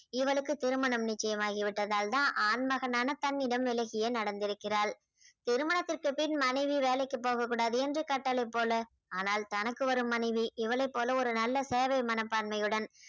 இவளுக்கு திருமணம் நிச்சயம் ஆகிவிட்டதால்தான் ஆண்மகனான தன்னிடம் விலகியே நடந்திருக்கிறாள் திருமணத்திற்குப் பின் மனைவி வேலைக்குப் போகக் கூடாது என்று கட்டளைப் போல ஆனால் தனக்கு வரும் மனைவி இவளைப் போல ஒரு நல்ல சேவை மனப்பான்மையுடன்